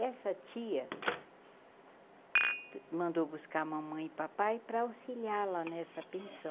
E essa tia mandou buscar uma mãe e papai para auxiliar lá nessa pensão.